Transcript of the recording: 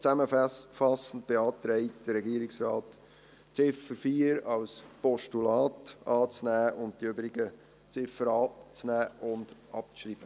Zusammenfassend beantragt Ihnen der Regierungsrat, die Ziffer 4 als Postulat anzunehmen und die übrigen Ziffern anzunehmen und abzuschreiben.